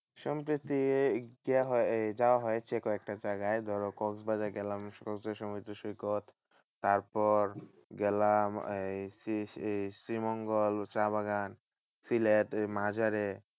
সম্প্রতি এই গিয়া হয় এই যাওয়া হয়েছে কয়েকটা জায়গায় ধরো কক্সবাজার গেলাম সমুদ্র সৈকত। তারপর গেলাম এই শ্রী শ্রী শ্রী মঙ্গল চা বাগান। সিলেটের মাজারে